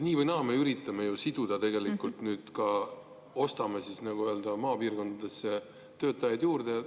Nii või naa me üritame siduda, nüüd ka ostame maapiirkondadesse töötajaid juurde.